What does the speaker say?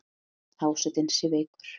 Einn hásetinn sé veikur.